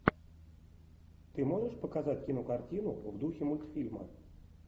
ты можешь показать кинокартину в духе мультфильма